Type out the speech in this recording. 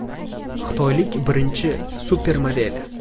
Xitoylik birinchi supermodel.